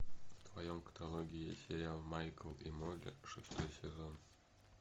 в твоем каталоге есть сериал майкл и молли шестой сезон